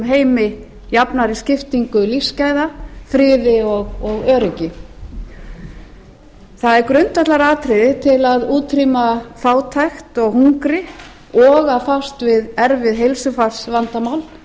heimi jafnari skiptingu lífsgæða friði og öryggi það er grundvallaratriði til að útrýma fátækt og hungri og að fást við erfið heilsufarsvandamál